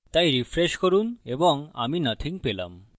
তাই refresh করুন এবং আমি nothing পেলাম